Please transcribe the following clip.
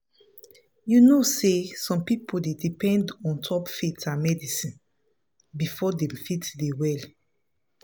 you know say some people dey depend ontop faith and medicine before dem fit dey well.